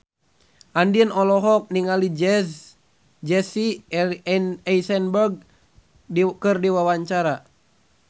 Andien olohok ningali Jesse Eisenberg keur diwawancara